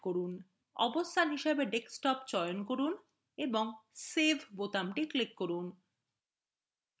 অবস্থান হিসাবে desktop চয়ন করুন এবং save বোতামটি click করুন